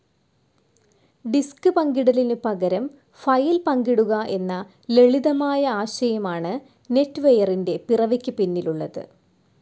Disk പങ്കിടലിനു പകരം file പങ്കിടുക എന്ന ലളിതമായ ആശയമാണ് നെറ്റ്‌വെയറിന്റെ പിറവിക്കുപിന്നിലുള്ളത്.